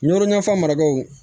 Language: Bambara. Yɔrɔ ɲɛfa mara o